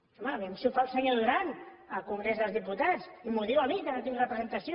home a veure si ho fa el senyor duran al congrés dels diputats i m’ho diu a mi que no hi tinc representació